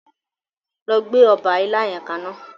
Lọ gbé ọba ilá yẹn kaná.